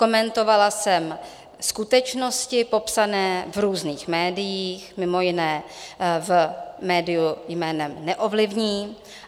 Komentovala jsem skutečnosti popsané v různých médiích, mimo jiné v médiu jménem Neovlivní.